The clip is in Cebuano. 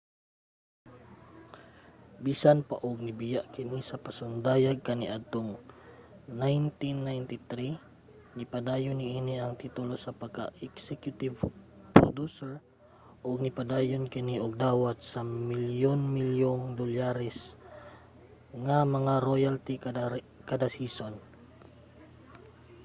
bisan pa og nibiya kini sa pasundayag kaniadtong 1993 gipadayon niini ang titulo sa pagka-executive producer ug nipadayon kini og dawat sa milyonmilyong dolyares nga mga royalty kada season